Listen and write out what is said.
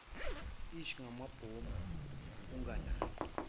ij ngamabomu unganaki